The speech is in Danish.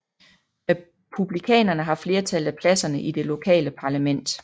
Republikanerne har flertallet af pladserne i det lokale parlament